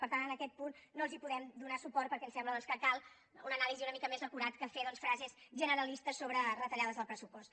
per tant en aquest punt no els podem donar suport perquè ens sembla doncs que cal una anàlisi una mica més acurada que fer doncs frases generalistes sobre retallades del pressupost